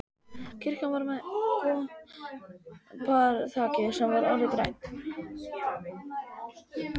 Kirkjan var með koparþaki sem var orðið grænt.